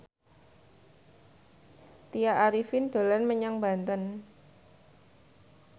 Tya Arifin dolan menyang Banten